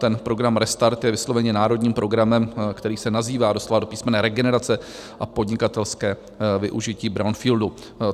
Ten program Restart je vysloveně národním programem, který se nazývá doslova a do písmene Regenerace a podnikatelské využití brownfieldů.